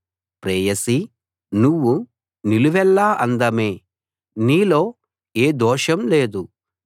ప్రేయసీ నువ్వు నిలువెల్లా అందమే నీలో ఏ దోషం లేదు